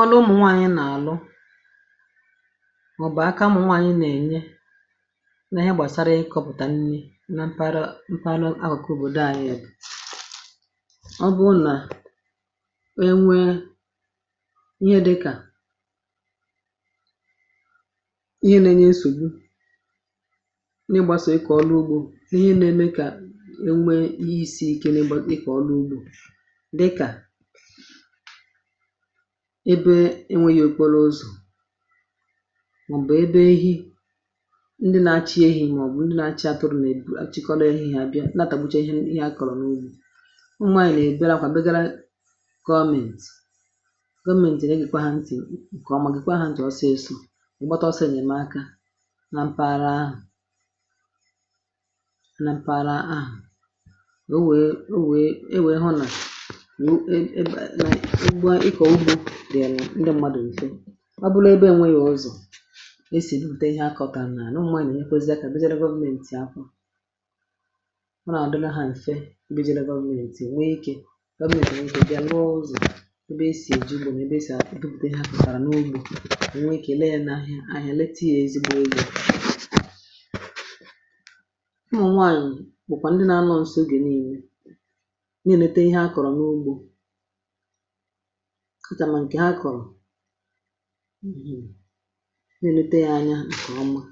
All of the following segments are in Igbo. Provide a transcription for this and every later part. ọnụ ụmụ̀nwaànyị nà àlụ eh mà ọ̀ bụ̀ aka ṁnwàànyị nà ènye nà ihe gbàsara ịkọ̇pùtà nni nà mpȧra mpȧra akọ̀kụ bụ̀ doànyị yȧ um ọ bụrụ nà e nwė ihe dị kà ihe nȧ enye nsògbu nà ịgbȧsò ikọ̀ ọrụ ugbȯ nà ihe nȧ eme kà dịkà ebe enwėghi̇ okporo ụzọ̀ ah màọ̀bụ̀ ebe ihe ndị na-achị ehi̇ màọ̀bụ̀ ndị na-achị atụrụ nà-èbù achịkọrọ ehi̇ àbịa nà-àtàgbụcha ihe a kọ̀rọ̀ n’ugbȯ um ụmụ̀ anyị̀ nà-èbere akwà bịara gọmėnt gọmėnt eh ène gị̇ kwà ha ntì ǹkè ọ̀ mà gị̀ kwà ha ntị̀ ọsị esȯ ǹgbọta ọsọ ènyèmaka na mpaghara ahụ̀ na mpaghara ahụ̀ ikọ̀ ugbȯ dìà n’ndi mmadụ̀ ìfe ah ọ bụlụ ebe enweghi̇ ọzọ̀ e sì depute ihe akọ̇kȧ n’ànà n’ụmụnà ì nà èk pesida eh kà ẹbẹzẹ rewovmentì akwȧ ọ nà-àdịla hȧ ǹfẹ um e bịa ye rewovmentì nwe ikė gbẹzẹ̀ nwe ihe bịa nrụọ ọzọ̀ e bẹ e sì èji ugbȯ nwẹ ị eh bẹ e sì àkpụtà ihe akụ̀sàrà n’ugbȯ ah e bẹ ị kè leẹ n’ahịa ahịa um leta ihe ezigbo ihe à n’unwaànyị̀ bụ̀kwà ndi nà anọ̇ nsọ ogè niilė nchà mà ǹkè ha kọ̀rọ̀ n’ihì nà-elete yȧ anya ǹkè ọma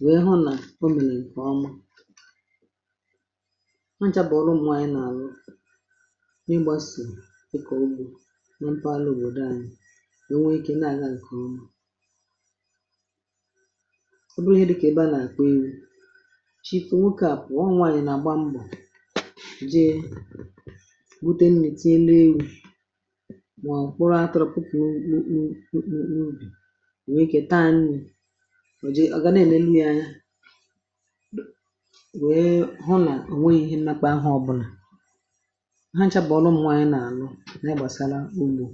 nwèe hụ eh nà ọ mị̀lì ǹkè ọma nchàpọ̀ọrụ ụmụ̀anya nà-àrụ n’ịgbȧsì e kọ̀ ogbò nà mpụ̇ alụ̀ òbòdò anyi ah ò nwee ikė nà-àga ǹkè ọma ọ bụrụ ihe dịkà ebe a nà-àkwa iwu̇ chịpụ̀ nwokė à pụ̀ọ nwaànyị̀ nà àgba mbọ̀ eh mà ọ̀kpụrụ̇ atụrụkwukwu kpukpu ikpu ikpu̇ n’ubì nwèe kà taa n’ihu̇ nwèl um wèe hụ nà ọ̀ nwẹghị̇ ihe m nakpaahụ̇ ọ̀bụlà ha nchȧpà ọlụm nwaanyị̇ nà ànụ nà ịgbȧsala ugbȯ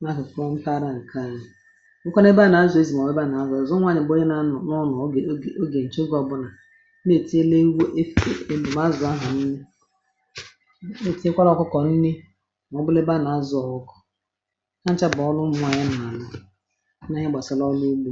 nà ahụ̀ frondara ah ǹkẹ̀ anya nke na ebeà nà azụ̀ ezì um mà ọ̀ ebeà nà azụ̀ ọ̀zọ nwaanyị̀ gbanye nà anụ̀ nụọ eh nà ọ gà ogè ǹchogè ọbụnà na ètinyè n’ewu efe èlùmà azụ̀ ahụ̀ niri nà ọnụ m̀nwà um na anà-ẹgbàsà na ọlụ ègbù.